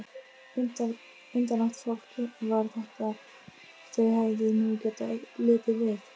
Undarlegt fólk var þetta, þau hefðu nú getað litið við!